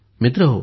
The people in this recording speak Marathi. मित्रांनो